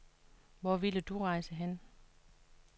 Hvor ville du rejse hen?